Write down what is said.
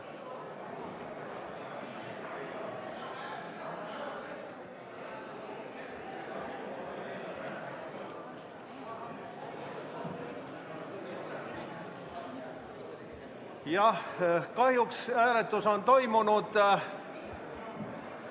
Jah, aga kahjuks on hääletus juba toimunud.